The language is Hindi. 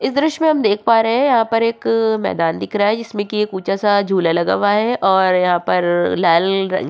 इस दृस्य हम देख पा रहे हैं यहाँ पर एक मैदान दिख रहा है जिसमे की एक ऊँचा सा झूला लगा हुआ है और यहाँ पर लाल रंग --